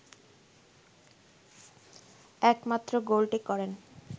একমাত্র গোলটি করেন